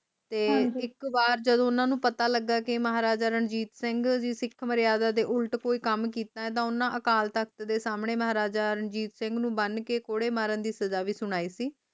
ਤੇ ਇਕ ਵਾਰ ਜਦੋ ਓਹਨਾ ਨੂੰ ਪਤਾ ਲਗਾ ਕਿ ਮਹਾਰਾਜਾ ਰਣਜੀਤ ਸਿੰਘ ਸਿੱਖ ਮਰਯਾਦਾ ਦੇ ਉਲਟ ਕੋਈ ਕੰਮ ਕੀਤਾ ਤੇ ਓਹਨਾ ਅਕਾਲ ਤਖ਼ਤ ਦੇ ਸਾਮਣੇ ਮਹਾਰਾਜਾ ਰਣਜੀਤ ਸਿੰਘ ਨੂੰ ਬਣ ਕੇ ਕੌੜੇ ਮਾਰਨ ਦੀ ਸਜ਼ਾ ਵੀ ਸੁਣਾਈ ਸੀ